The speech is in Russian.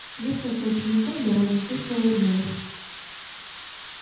несколько учеников довольно кисло улыбнулись